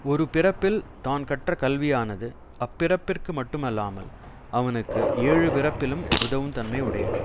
ஒரு பிறப்பில் தான் கற்றக் கல்வியானது அப்பிறப்பிற்கு மட்டும் அல்லாமல் அவனுக்கு ஏழுபிறப்பிலும் உதவும் தன்மை உடையது